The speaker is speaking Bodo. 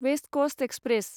west Coast express